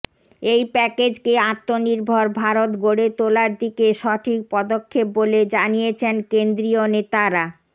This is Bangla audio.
এই প্যাকেজকে আত্মনির্ভর ভারত গড়ে তোলার দিকে সঠিক পদক্ষেপ বলে জানিয়েছেন কেন্দ্রীয় নেতারা